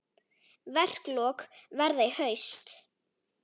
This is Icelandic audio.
Verklok verða í haust.